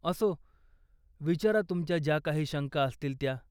असो, विचारा तुमच्या ज्या काही शंका असतील त्या.